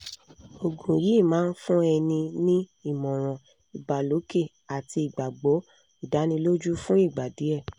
oògùn yìí máa ń fún ẹni ní ìmọ̀ràn ìbàlòkè àti igbagbọ̀ ìdánilójú fún ìgbà díẹ̀